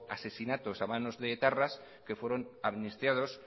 asesinatos en manos de etarras que fueron amnistiados